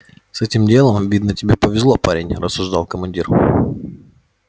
с этим делом видно тебе повезло парень рассуждал командир